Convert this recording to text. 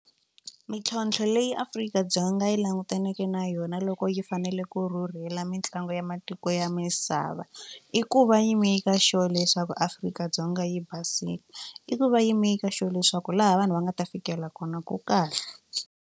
Mintlhontlho leyi Afrika-Dzonga yi langutaneke na yona loko yi fanele ku rhurhela mitlangu ya matiko ya misava i ku va yi make sure leswaku Afrika-Dzonga yi basile i ku va yi make sure leswaku laha vanhu va nga ta fikela kona ku kahle.